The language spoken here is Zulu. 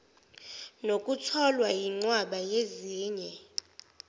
nokutholwa yinqwaba yezinye